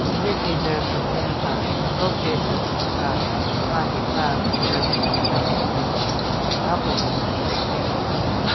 Hele guitar kejwen ka ro guitar heka ka heka guitar kechacha kechon ne binyon keda ku binyon keshen ku binyon.